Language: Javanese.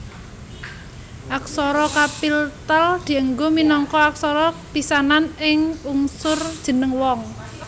Aksara kapiltal dianggo minangka aksara pisanan ing unsur jeneng wong